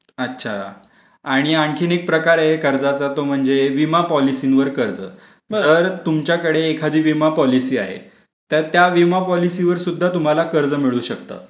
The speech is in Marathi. अच्छा, आणि आणखीन एक प्रकारे कर्जाचा तो म्हणजे विमा पॉलिसींवर कर्ज तर तुमच्याकडे एखादी विमा पॉलिसी आहे. तर त्या विमा पॉलिसी वर सुद्धा तुम्हाला कर्ज मिळू शकतात.